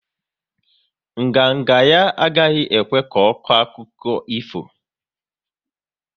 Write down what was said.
Nganga nga ya agaghi ekwe ko akụkọ ifo